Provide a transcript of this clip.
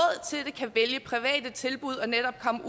kan private tilbud og netop komme